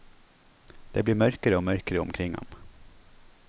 Det blir mørkere og mørkere omkring ham.